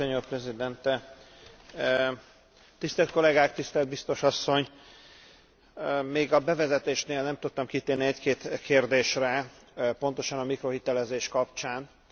Még a bevezetésnél nem tudtam kitérni egy két kérdésre pontosan a mikrohitelezés kapcsán, de itt a lényeg az addicionalitás.